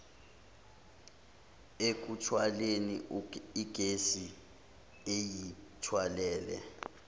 ekuthwaleni igesi eyithwalele